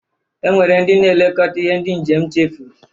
E nwere ndị na-elekota ihe ndị njem chefuru.